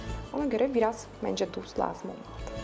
Ona görə biraz, məncə, duz lazımdır.